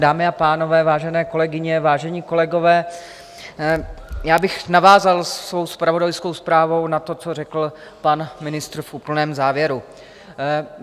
Dámy a pánové, vážené kolegyně, vážení kolegové, já bych navázal svou zpravodajskou zprávou na to, co řekl pan ministr v úplném závěru.